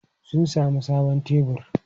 Sun sami sabon tebur.